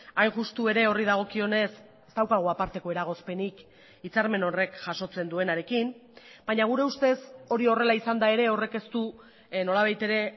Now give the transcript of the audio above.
hain justu ere horri dagokionez ez daukagu aparteko eragozpenik hitzarmen horrek jasotzen duenarekin baina gure ustez hori horrela izanda ere horrek ez du nolabait ere